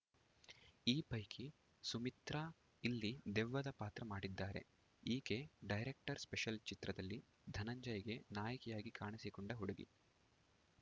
ಈ ಪೈಕಿ ಸುಮಿತ್ರಾ ಇಲ್ಲಿ ದೆವ್ವದ ಪಾತ್ರ ಮಾಡಿದ್ದಾರೆ ಈಕೆ ಡೈರೆಕ್ಟರ್‌ ಸ್ಪೆಷಲ್‌ ಚಿತ್ರದಲ್ಲಿ ಧನಂಜಯ್‌ಗೆ ನಾಯಕಿಯಾಗಿ ಕಾಣಿಸಿಕೊಂಡ ಹುಡುಗಿ